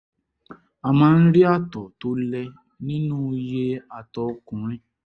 a máa ń rí ààtọ̀ tó lẹ nínú iye àtọ̀ ọkùnrin